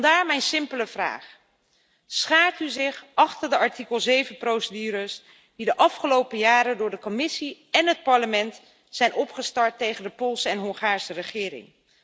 Vandaar mijn simpele vraag schaart u zich achter de artikel 7 procedures die de afgelopen jaren door de Commissie en het Parlement zijn opgestart tegen de Poolse en Hongaarse regering?